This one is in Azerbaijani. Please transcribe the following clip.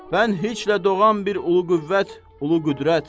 Mən heçlə doğan bir ulu qüvvət, ulu qüdrət.